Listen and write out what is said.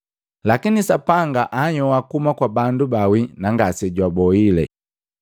Lakini Sapanga anhyoa kuhuma kwa bandu baawi na ngasejwabohile.